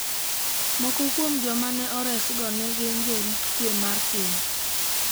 Moko kuom joma ne oresgo ne gin jorit kwe mar piny.